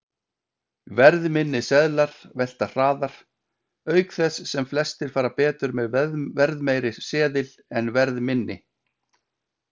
Verðminni seðlar velta hraðar, auk þess sem flestir fara betur með verðmeiri seðil en verðminni.